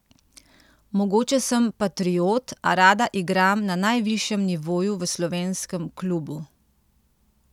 Mogoče sem patriot, a rada igram na najvišjem nivoju v slovenskem klubu.